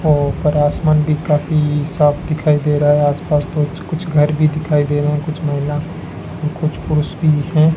और ऊपर आसमान भी काफी साफ दिखाई दे रहा है आस पास तो कुछ घर भी दिखाई दे रहा कुछ महिला कुछ पुरुष भी है।